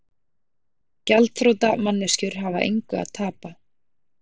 Gjaldþrota manneskjur hafa engu að tapa.